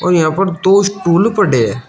और यहां पर दो स्टूल पड़े हैं।